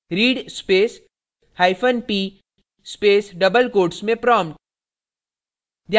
read space hyphen p space double quotes में prompt